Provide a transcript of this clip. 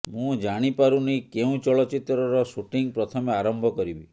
ମୁଁ ଜାଣିପାରୁନି କେଉଁ ଚଳଚ୍ଚିତ୍ରର ସୁଟିଂଙ୍ଗ ପ୍ରଥମେ ଆରମ୍ଭ କରିବି